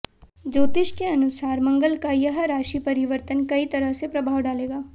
ज्योतिष के अनुसार मंगल का यह राशि परिवर्तन कई तरह से प्रभाव डालेगा